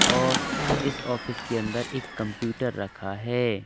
और इस ऑफिस के अंदर एक कंप्यूटर रखा है।